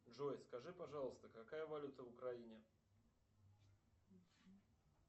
джой скажи пожалуйста какая валюта в украине